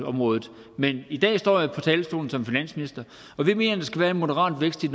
området men i dag står jeg på talerstolen som finansminister og vi mener der skal være en moderat vækst i